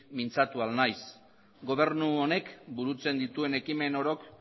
mintzatu ahal naiz gobernu honek burutzen dituen ekimen orok